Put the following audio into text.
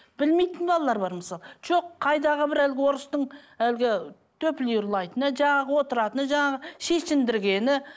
білмейтін балалар бар мысалы жоқ қайдағы бір әлгі орыстың әлгі ұрлайтыны жаңағы отыратыны жаңағы шешіндіргені